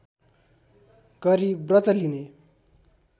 गरी व्रत लिने